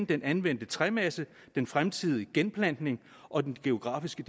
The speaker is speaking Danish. den anvendte træmasse den fremtidige genplantning og den geografiske